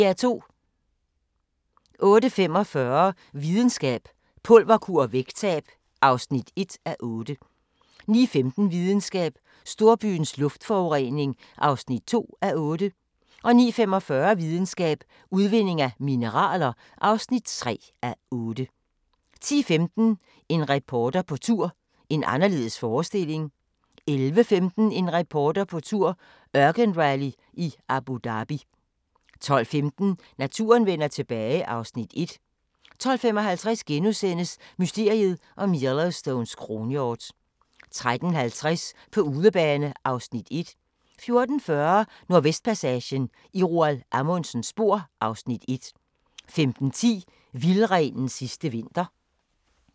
08:45: Videnskab: Pulverkur og vægttab (1:8) 09:15: Videnskab: Storbyens luftforurening (2:8) 09:45: Videnskab: Udvinding af mineraler (3:8) 10:15: En reporter på tur – en anderledes forestilling 11:15: En reporter på tur – ørkenrally i Abu Dhabi 12:15: Naturen vender tilbage (Afs. 1) 12:55: Mysteriet om Yellowstones kronhjort * 13:50: På udebane (Afs. 1) 14:40: Nordvestpassagen – i Roald Amundsens spor (Afs. 1) 15:10: Vildrenens sidste vinter